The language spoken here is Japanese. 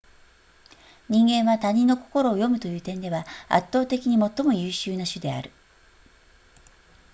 人間は他人の心を読むという点では圧倒的に最も優秀な種である